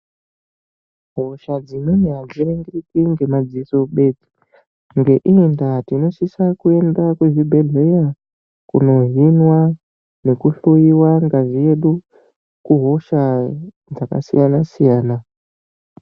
Hosha dzimweni adziringiriki ngemadziso bedzi ngeiyi ndaa tinosisa kuenda kuzvibhehlera kundohinwa nekuhloiwa ngazi yedu kuhosha dzakasiyana siyana .